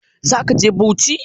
Za ka je Bauchi?